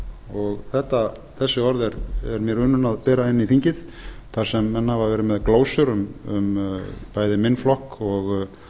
og þessi orð eru mér unun að bera inn í þingið þar sem menn hafa verið með glósur bæði um minn flokk